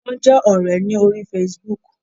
Wón jé òré lórí Facebook